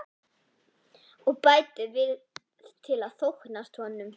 Og bætir við til að þóknast honum.